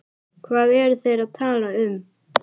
Hvað eru þeir að tala um?